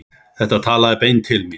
Þetta talaði beint til mín.